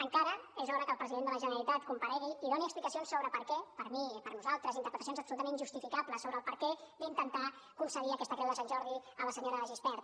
encara és hora que el president de la generalitat comparegui i doni explicacions sobre per què per mi per nosaltres interpretacions absolutament injustificables sobre el perquè d’intentar concedir aquesta creu de sant jordi a la senya de gispert